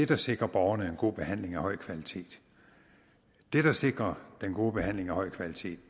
der sikrer borgerne en god behandling af høj kvalitet det der sikrer den gode behandling af høj kvalitet